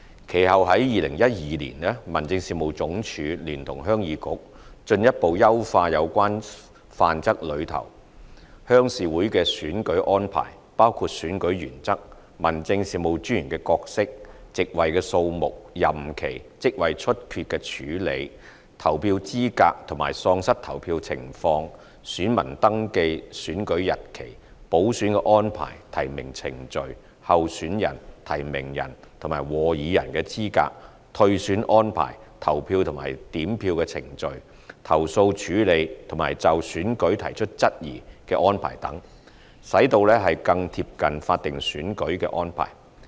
其後在2012年，民政事務總署聯同鄉議局進一步優化有關《範則》內鄉事會的選舉安排，包括選舉原則、民政事務專員的角色、席位數目、任期、職位出缺的處理、投票資格和喪失投票情況、選民登記、選舉日期、補選安排、提名程序、候選人、提名人和和議人的資格、退選安排、投票和點票程序、投訴處理和就選舉提出質疑的安排等，使其更貼近法定選舉的安排。